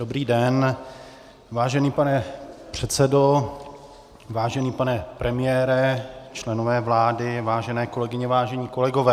Dobrý den, vážený pane předsedo, vážený pane premiére, členové vlády, vážené kolegyně, vážení kolegové.